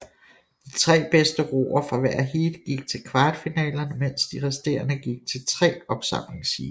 De tre bedste roere fra hvert heat gik til kvartfinalerne mens de resterende gik til tre opsamlingsheat